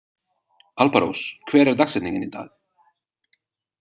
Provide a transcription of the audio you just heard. Alparós, hver er dagsetningin í dag?